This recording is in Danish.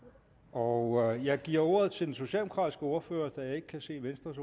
og jeg giver ordet til den socialdemokratiske ordfører da jeg ikke kan se venstres